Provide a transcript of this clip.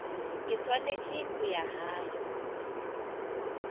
ke swanetse go ya gae